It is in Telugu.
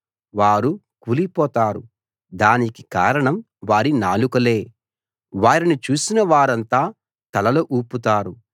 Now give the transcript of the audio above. వారు కూలిపోతారు దానికి కారణం వారి నాలుకలే వారిని చూసిన వారంతా తలలు ఊపుతారు